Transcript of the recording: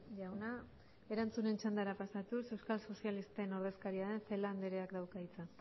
jauna erantzunen txandara pasatuz euskal sozialisten ordezkaria den celaá andreak dauka hitza